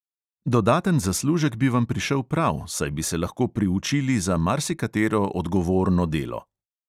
Dodaten zaslužek bi vam prišel prav, saj bi se lahko priučili za marsikatero odgovorno delo.